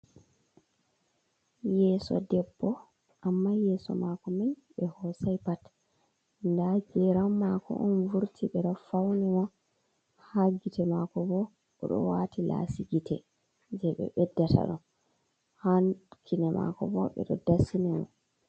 Yeso debbo amma yeso mako mai ɓe hosai pat nda geram mako on vurti ɓeɗo fauni mo ha gite mako bo oɗo wati lasi gite je ɓe ɓeddata ɗo ha kine mako bo ɓe do dasini mo.